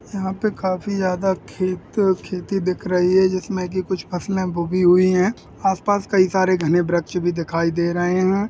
यहाँ पे काफी ज्यादा खेत खेती दिख रही हैं जिसमे की कुछ फसलें बूगी हुई है आस पास कई घने वृक्ष भी दिखाई दे रहे हैं ।